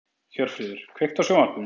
Hjörfríður, kveiktu á sjónvarpinu.